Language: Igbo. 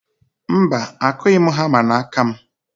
Mba, akụghị m hama n'aka m.